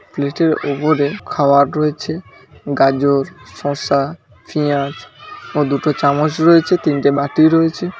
প্লেটের উপরে খাবার রয়েছে গাজর শসা পেঁয়াজ ও দুটো চামচ রয়েছে তিনটে বাটি রয়েছে।